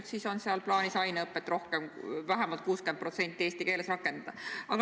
Järelikult on seal siis plaanis aineõpet rohkem, vähemalt 60% eesti keeles rakendada.